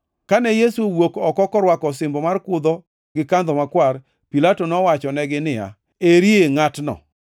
Kane Yesu owuok oko korwako osimbo mar kudho gi kandho makwar, Pilato nowachonegi niya, “Eri ngʼatno!”